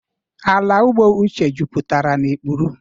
Ala ugbo Uche juputara na ikpuru.